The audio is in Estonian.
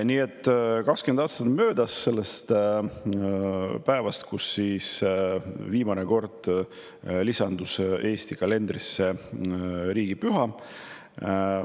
Nii et 20 aastat on möödas päevast, kui viimane kord Eesti kalendrisse riigipüha lisandus.